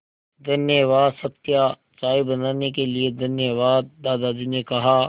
धन्यवाद सत्या चाय बनाने के लिए धन्यवाद दादाजी ने कहा